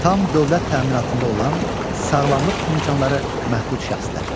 Tam dövlət təminatında olan sağlamlıq imkanları məhdud şəxslər.